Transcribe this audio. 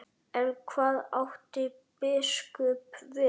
En hvað átti biskup við?